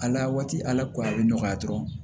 Ala waati la ko a bɛ nɔgɔya dɔrɔn